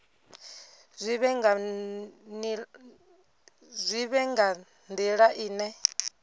zwi vhe nga nila ine